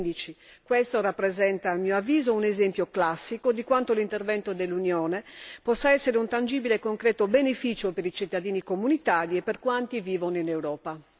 2015. Questo rappresenta, a mio avviso, un esempio classico di quanto l'intervento dell'Unione possa essere un tangibile e concreto beneficio per i cittadini comunitari e per quanti vivono in Europa.